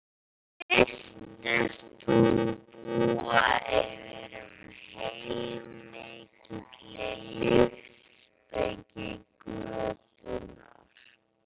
Mér virtist hún búa yfir heilmikilli lífsspeki götunnar